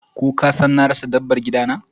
Ko kasan na rasa dabbar gidana?